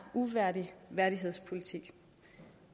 uværdig værdighedspolitik